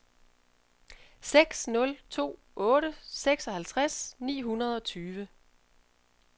seks nul to otte seksoghalvtreds ni hundrede og tyve